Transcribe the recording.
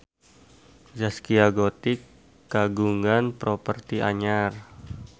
Zaskia Gotik kagungan properti anyar